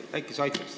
Äkki sa aitad?